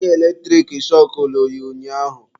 Wire eletrik shọkụlụ ya ụnyaahụ.